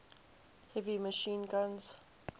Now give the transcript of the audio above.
heavy machine guns